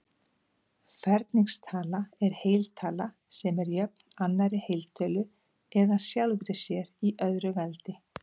Ferningstala er heiltala sem er jöfn annarri heiltölu eða sjálfri sér í öðru veldi.